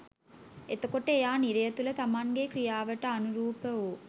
එතකොට එයා නිරය තුළ තමන්ගේ ක්‍රියාවට අනුරූප වූ